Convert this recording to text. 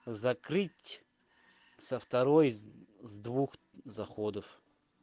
закрыть со второй с с двух заходов